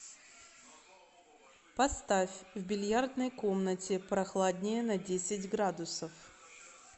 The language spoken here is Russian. поставь в бильярдной комнате прохладнее на десять градусов